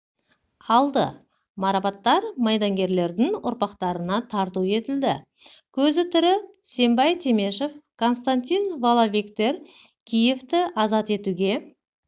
алды марапаттар майдангерлердің ұрпақтарына тарту етілді көзі тірі сембай темешев константин воловиктер киевті азат етуге